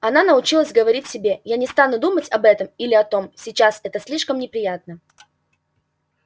она научилась говорить себе я не стану думать об этом или о том сейчас это слишком неприятно